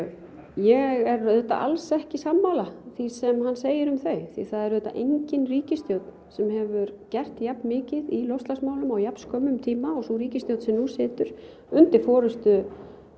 ég er auðvitað alls ekki sammála því sem hann segir um þau því það er auðvitað engin ríkisstjórn sem hefur gert jafnmikið í loftslagsmálum á jafn skömmum tíma og sú ríkisstjórn sem nú situr undir forystu